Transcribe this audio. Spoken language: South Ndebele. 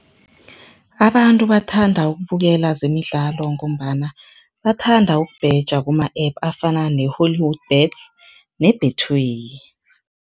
Abantu bathanda ukubukela zemidlalo ngombana bathanda ukubhema kuma-app afana ne-HollywoodBets ne-Betway.